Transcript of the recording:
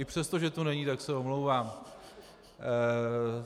I přesto, že tu není, tak se omlouvám.